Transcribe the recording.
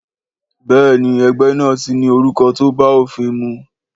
Béèni ẹgbẹ́ náà tí ní orúkọ tó bá òfin mu